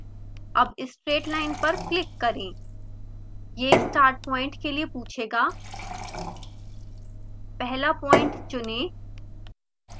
अब straight line पर click करें यह start point के लिए पूछेगा पहला प्वाइंट चुनें